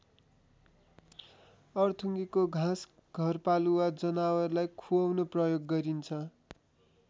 अरथुङ्गेको घाँस घरपालुवा जनावरलाई खुवाउन प्रयोग गरिन्छ।